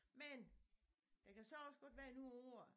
Men der kan så også godt være noget af året